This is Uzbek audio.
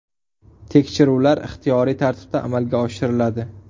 Tekshiruvlar ixtiyoriy tartibda amalga oshiriladi.